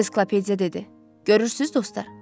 Ensiklopediya dedi: Görürsünüz, dostlar?